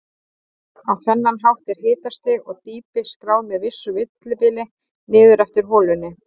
Á þennan hátt er hitastig og dýpi skráð með vissu millibili niður eftir holunni.